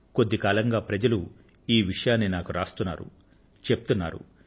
కొద్ది కాలంగా ప్రజలు ఈ విషయాన్ని నాకు వ్రాస్తున్నారు చెప్తున్నారు